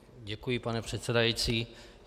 Děkuji, pane předsedající.